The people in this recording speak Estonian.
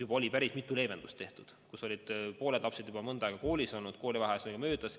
Juba oli päris mitu leevendust tehtud, pooled lapsed olid juba mõnda aega koolis olnud, koolivaheaeg oli möödas.